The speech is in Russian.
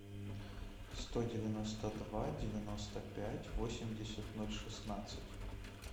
сто девяносто два девяносто пять восемьдесят ноль шестнадцать